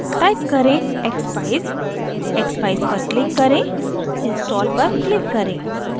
type करें: expeyes expeyes पर click करें install पर click करें